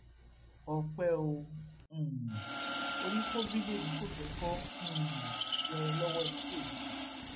ọpẹ ò um orí kó bídẹmi kòsókó um yọ lọwọ ikú òjijì